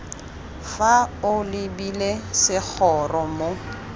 fa o lebile segoro mo